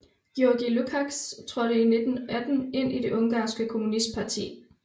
György Lukacs trådte i 1918 ind i det ungarske kommunistparti